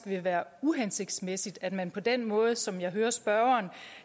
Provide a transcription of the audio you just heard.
vil være uhensigtsmæssigt at man på den måde som jeg hører spørgeren